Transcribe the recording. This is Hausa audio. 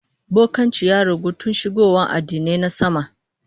Bokanci ya ragu tun shigowa addinai na sama